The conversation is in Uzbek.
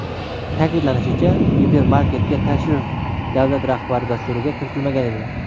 Ta’kidlanishicha, gipermarketga tashrif davlat rahbari dasturiga kiritilmagan edi.